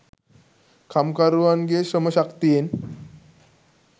කම්කරුවන්ගේ ශ්‍රම ශක්තියෙන්